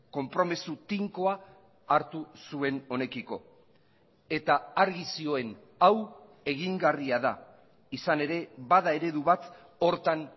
konpromiso tinkoa hartu zuen honekiko eta argi zioen hau egingarria da izan ere bada eredu bat horretan